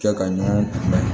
Kɛ ka ɲɔgɔn kunbɛn